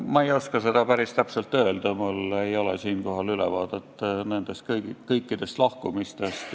Ma ei oska seda päris täpselt öelda, mul ei ole ülevaadet nendest kõikidest lahkumistest.